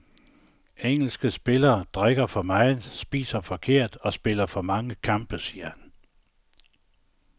Engelske spillere drikker for meget, spiser forkert og spiller for mange kampe, siger han.